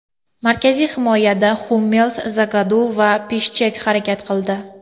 Markaziy himoyada Hummels, Zagadu va Pishchek harakat qildi.